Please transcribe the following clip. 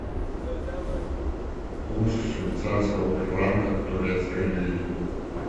курс швейцарского франка к турецкой лире